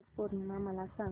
वट पौर्णिमा मला सांग